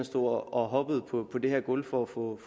stod og hoppede på det her gulv for at få